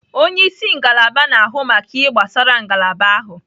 Onye isi ngalaba na-ahụ maka ihe gbasara ngalaba ahụ